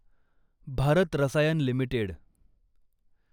Bharat Rasayan limited